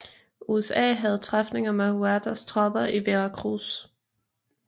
USA havde træfninger med Huertas tropper i Veracruz